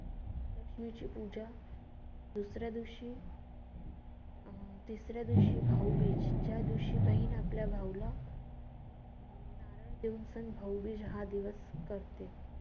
लक्ष्मीची पूजा, दूसऱ्या दिवशी अं तिसऱ्या दिवशी भाऊबीज, ज्या दिवशी बहीण आपल्या भाऊला देऊन सण भाऊबीज हा दिवस करते.